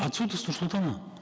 отсюда с нур султана